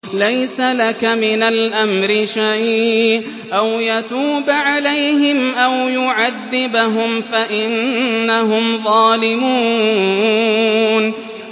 لَيْسَ لَكَ مِنَ الْأَمْرِ شَيْءٌ أَوْ يَتُوبَ عَلَيْهِمْ أَوْ يُعَذِّبَهُمْ فَإِنَّهُمْ ظَالِمُونَ